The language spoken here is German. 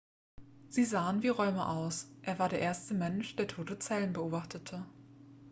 sie sahen wie räume aus er war der erste mensch der tote zellen beobachtete